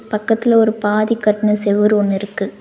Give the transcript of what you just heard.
பக்கத்துல ஒரு பாதி கட்ன செவுரு ஒன்னு இருக்கு.